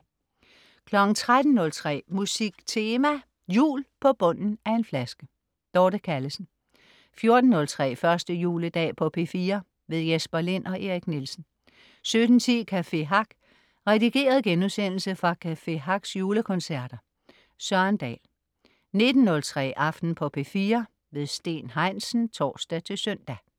13.03 Musik Tema: Jul på bunden af en flaske. Dorte Callesen 14.03 1. juledag på P4. Jesper Lind og Erik Nielsen 17.10 Café Hack. Redigeret genudsendelse fra Café Hacks julekoncerter. Søren Dahl 19.03 Aften på P4. Steen Heinsen (tors-søn)